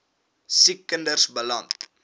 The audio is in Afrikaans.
siek kinders beland